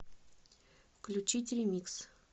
включить ремикс